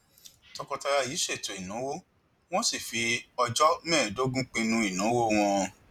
tọkọtaya yìí ṣètò ìnáwó wọn sì fi ọjọ mẹẹẹdógún pinnu ìnáwó wọn